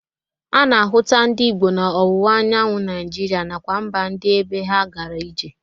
A na-ahụta ndị Igbo na ọwụwa anyanwụ naijiria nakwa mba ndị ebe ha gara ije.